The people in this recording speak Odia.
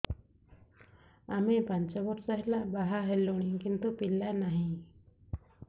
ଆମେ ପାଞ୍ଚ ବର୍ଷ ହେଲା ବାହା ହେଲୁଣି କିନ୍ତୁ ପିଲା ନାହିଁ